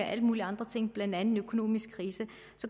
alle mulige andre ting blandt andet den økonomiske krise